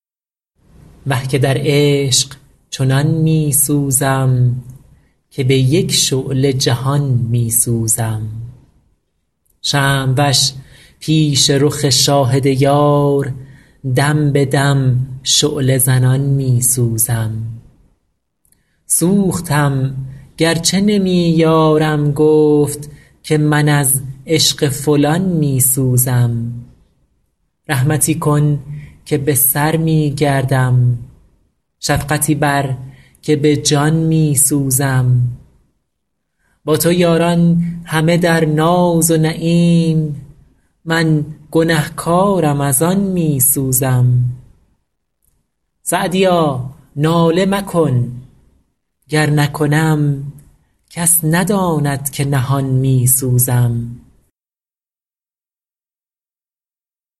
وه که در عشق چنان می سوزم که به یک شعله جهان می سوزم شمع وش پیش رخ شاهد یار دم به دم شعله زنان می سوزم سوختم گر چه نمی یارم گفت که من از عشق فلان می سوزم رحمتی کن که به سر می گردم شفقتی بر که به جان می سوزم با تو یاران همه در ناز و نعیم من گنه کارم از آن می سوزم سعدیا ناله مکن گر نکنم کس نداند که نهان می سوزم